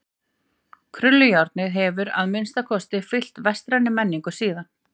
Krullujárnið hefur að minnsta kosti fylgt vestrænni menningu síðan.